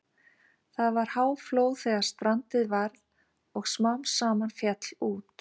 Það var háflóð þegar strandið varð og smám saman féll út.